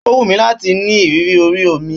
Ó wùnmí láti ní ìrírí ori omi